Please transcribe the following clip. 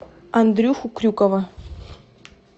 андрюху крюкова